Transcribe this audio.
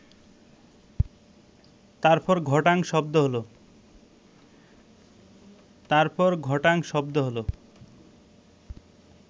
তারপর ঘটাং শব্দ হলো